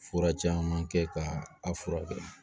Fura caman kɛ ka a furakɛ